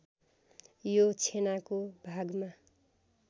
यो छेनाको भागमा